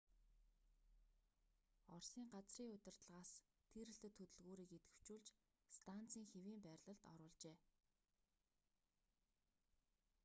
оросын газрын удирдлагаас тийрэлтэт хөдөлгүүрийг идэвхжүүлж станцын хэвийн байрлалд оруулжээ